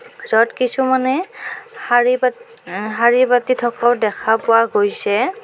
য'ত কিছুমানে শাৰী পাতি হা শাৰী পাতি থকাও দেখা পোৱা গৈছে।